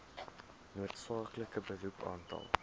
noodsaaklike beroep aantal